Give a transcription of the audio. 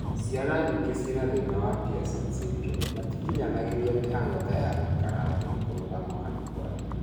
Ciana nyingĩ ciĩna thina wa Pierson syndrome matikinyanagĩria mĩhang'o ta ya gũikara thĩ, kũrũgama kana kwaria